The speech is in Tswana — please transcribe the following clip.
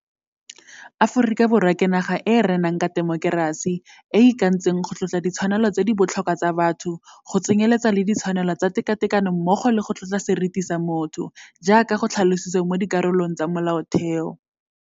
Aforika Borwa ke naga e e renang ka temokerasi, e e ikantseng go tlotla ditshwanelo tse di botlhokwa tsa batho, go tsenyeletsa le ditshwanelo tsa tekatekano mmogo le go tlotla seriti sa motho, jaaka go tlhalositswe mo dikarolong tsa Molaotheo.